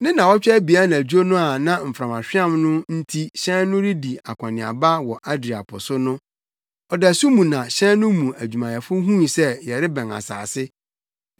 Ne nnaawɔtwe abien anadwo no a na mframahweam no nti hyɛn no redi akɔneaba wɔ Adria po so no, ɔdasu mu na hyɛn no mu adwumayɛfo huu sɛ yɛrebɛn asase.